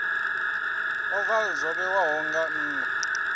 ovala zwo vhewaho nga nha